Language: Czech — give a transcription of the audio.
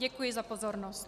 Děkuji za pozornost.